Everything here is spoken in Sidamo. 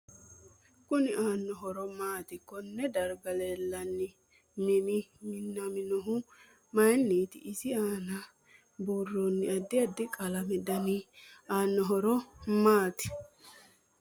MInu aanno horo maati konne darga leelanno mini minaminohu mayiiniti isi aana buurooni addi addi qalamete dani aano horo maati